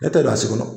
Ne tɛ lasi kɔnɔ